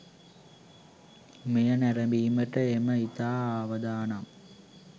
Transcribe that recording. මෙය නැරඹීමට ඒම ඉතා අවදානම්.